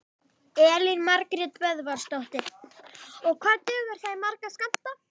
Elín Margrét Böðvarsdóttir: Og hvað dugar það í marga skammta?